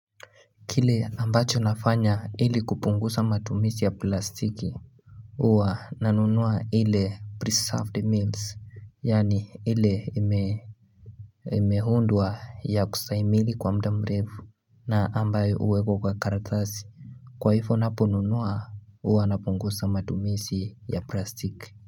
Kile ambacho nafanya ili kupungusa matumisi ya plastiki Uwa nanunuwa hile pre-served meals yani ile ime Imehundwa ya kusaimili kwa mdamrevu na ambayo uwekwa kwa karatazi Kwaifo naponunuwa uwa napungusa matumisi ya plastic.